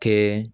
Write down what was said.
Kɛ